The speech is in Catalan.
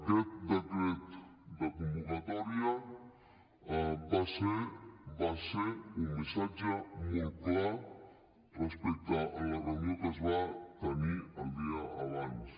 aquest decret de convocatòria va ser un missatge molt clar respecte a la reunió que es va tenir el dia abans